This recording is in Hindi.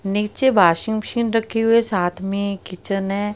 नीचे वाशिंग मशीन रखी हुई है। साथ में किचन है।